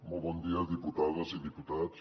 molt bon dia diputades i diputats